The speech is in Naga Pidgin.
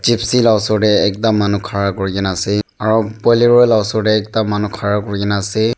Gypsy la osor tae ekta manu khara kurikena ase aro bolero la osor tae ekta manu khara kurikena ase.